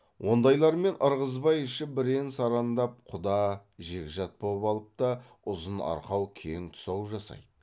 ондайлармен ырғызбай іші бірен сарандап құда жекжат боп алып та ұзын арқау кең тұсау жасайды